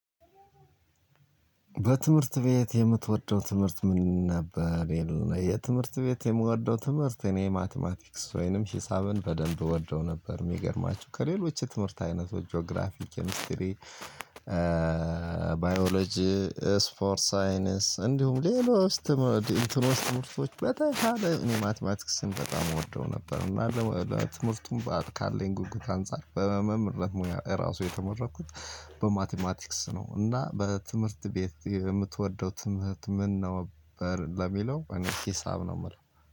በትምህርት ቤት የምትወደው ትምህርት ምን ነበር? የለ የትምህርት ቤት የምወደው ትምህርት እኔ ማትማቲክስ ወይንም ሂሳብን በደንብ እወደው ነበር። የሚገርማችሁ ከሌሎች የትምህርት አይነቶች ጂኦግራፊ ኬሚስትሪ ባዮሎጂ ስፖርት ሳይነስ እንዲሁም ሌሎች። ትምህርቶች በተሻለ እኔ ማትማቲክስን በጣም እወደው ነበር። እና ትምህርቱን በአት ካለኝ ጉጉት አንፃር በመምህር ሙያ ራሱ የተመረኩት በማቲማቲክስ ነው። እና በትምህርት ቤት የምትወደው ትምህርት ምን ነው? በር ለሚለው እኔ ሂሳብ ነው የምለው።